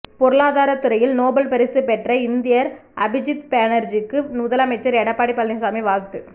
பொருளாதாரத் துறையில் நோபல் பரிசு பெற்ற இந்தியர் அபிஜித் பேனர்ஜிக்கு முதலமைச்சர் எடப்பாடி பழனிசாமி வாழ்த்து